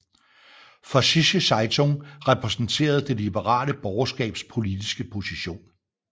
Vossische Zeitung repræsenterede det liberale borgerskabs politiske position